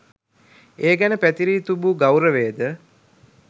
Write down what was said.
ඒ ගැන පැතිරී තුබූ ගෞරවයද